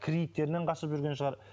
кредиттерінен қашып жүрген шығар